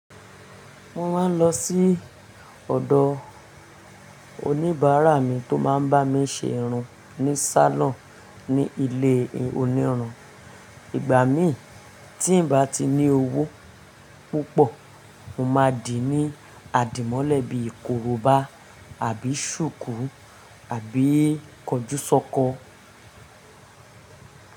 Mo máa ń lọ sí ọ̀dọ̀ oníbàárà mi tó máa ń bá mi ṣe irun ní sálọ̀n ní ilé onírọ́. Ìgbà mí tí n bá ti ní owó púpọ̀, mo máa dì ní àdìmọ́lẹ̀ bí koroba àbí ṣùkú àbí kọjúsọ́kọ.